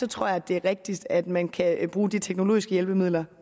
tror jeg at det er rigtigst at man kan bruge de teknologiske hjælpemidler